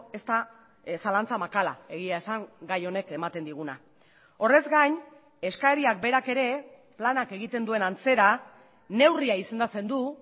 ez da zalantza makala egia esan gai honek ematen diguna horrez gain eskariak berak ere planak egiten duen antzera neurria izendatzen du